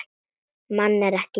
Mann en ekki dýr.